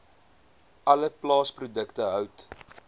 alle plaasprodukte hout